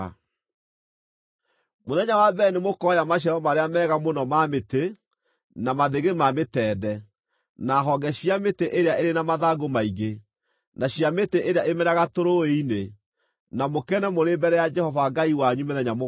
Mũthenya wa mbere nĩmũkooya maciaro marĩa mega mũno ma mĩtĩ, na mathĩgĩ ma mĩtende, na honge cia mĩtĩ ĩrĩa ĩrĩ na mathangũ maingĩ, na cia mĩtĩ ĩrĩa ĩmeraga tũrũũĩ-inĩ, na mũkene mũrĩ mbere ya Jehova Ngai wanyu mĩthenya mũgwanja.